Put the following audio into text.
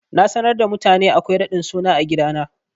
Na sanar da mutane akwai raɗin suna a gidana.